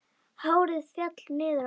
Hárið féll niður á axlir.